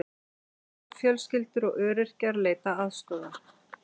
Stórar fjölskyldur og öryrkjar leita aðstoðar